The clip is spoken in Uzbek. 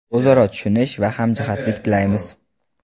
o‘zaro tushunish va hamjihatlik tilaymiz.